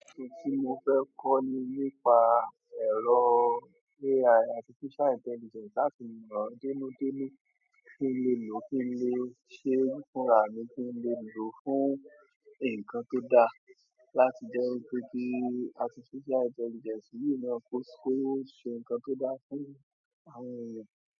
Ohun tí mo fẹ́ kọ́ ni nípa ẹ̀rọ AI AI, artificial intelligence, láti mọ̀ ọ́ dénú dénú kí n lè lò ó, kí n lè ṣe fúnra mi, kí n lè lò ó fún nǹkan tó dáa láti jẹ́ wípé kí artificial intelligence yìí náà kó ṣe nǹkan tó dáa fún àwọn ènìyàn.